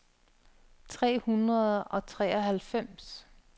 tre hundrede og treoghalvfems